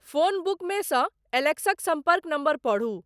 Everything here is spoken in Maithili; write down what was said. फ़ोन बुकमेसँ एलेक्सक सम्पर्क नम्बर पढ़ु।